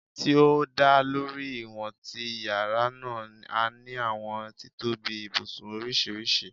Ti o da lori iwọn ti yara naa, a ni awọn titobi ibusun oriṣiriṣi